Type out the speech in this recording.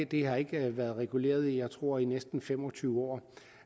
det har ikke været reguleret i jeg tror næsten fem og tyve år